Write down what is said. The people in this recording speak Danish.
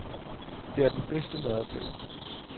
Det er den bedste madoplevelse.